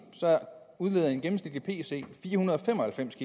udleder en gennemsnitlig pc fire hundrede og fem og halvfems